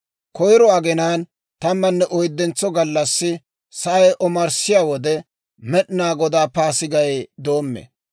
Koyro aginaan tammanne oyddentso gallassi sa'ay omarssiyaa wode, Med'inaa Godaa Paasigay doommee.